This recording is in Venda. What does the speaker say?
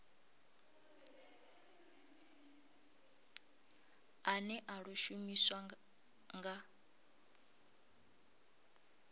ane a ḓo shumiswa nga